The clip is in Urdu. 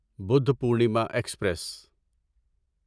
بودھپورنیما ایکسپریس